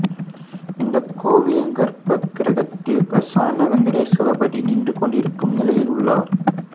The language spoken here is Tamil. இந்த கோவிலின் கர்பகிருகதில் பிரசன்ன வெங்கடாசலபதி நின்று கொண்டிருக்கும் நிலையில் உள்ளார்